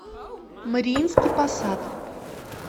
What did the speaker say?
мариинский посад